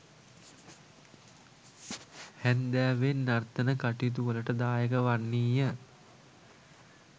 හැන්දෑවේ නර්තන කටයුතුවලට දායක වන්නීය.